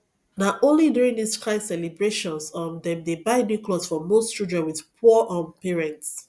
na only during this kind celebrations um dem dey buy new clothes for most children with poor um parents